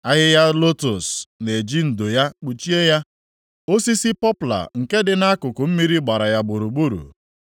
Ahịhịa lotus na-eji ndo ya kpuchie ya, osisi pọpla nke dị nʼakụkụ mmiri gbara ya gburugburu.